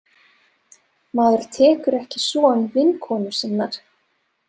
Maður tekur ekki son vinkonu sinnar.